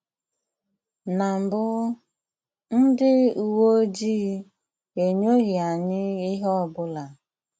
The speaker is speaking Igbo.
Na mbụ, ndị uwe ojii enyoghị anyị ihe ọ bụla.